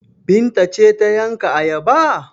Binta ce ta yanka ayaba?